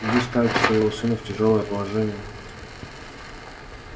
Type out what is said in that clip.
вы ставите своего сына в тяжёлое положение